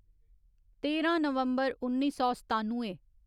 तेरां नवम्बर उन्नी सौ सतानुए